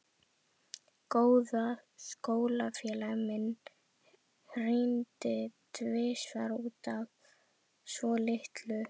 Góður skólafélagi minn hringdi tvisvar út af svolitlu.